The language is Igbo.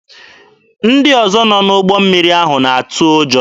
Ndị ọzọ nọ n'ụgbọ mmiri ahụ na-atụ ụjọ.